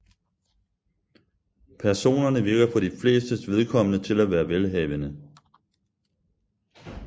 Personerne virker for de flestes vedkommende til at være velhavende